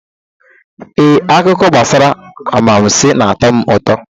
Ee, akụkọ gbasara anwansị na-atọ m ụtọ.